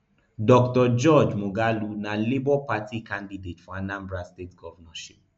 dr george moghalu na labour party candidate for anambra state govnornship